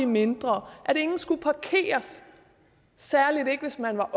mindre at ingen skulle parkeres særlig ikke hvis man er